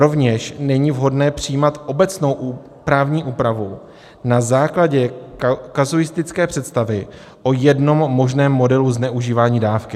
Rovněž není vhodné přijímat obecnou právní úpravu na základě kazuistické představy o jednom možném modelu zneužívání dávky.